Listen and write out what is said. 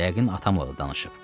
Yəqin atamla da danışıb.